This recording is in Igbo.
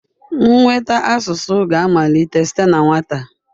Ịnweta asụsụ ga-amalite site na nwata.